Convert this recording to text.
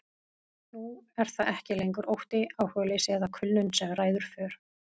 Nú er það ekki lengur ótti, áhugaleysi eða kulnun sem ræður för.